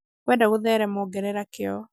wenda gũtherema ongerera kĩo